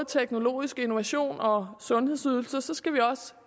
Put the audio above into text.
teknologisk innovation og sundhedsydelser skal vi også